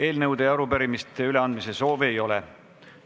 Eelnõude ja arupärimiste üleandmise soovi ei ole.